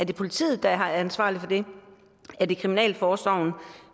det politiet der er ansvarlig for det er det kriminalforsorgen